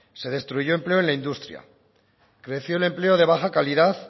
se destruyó empleo en la industria creció el empleo de baja calidad